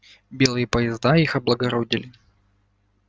белые поезда их облагородили